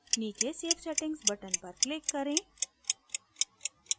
नीचे save settings button पर click करें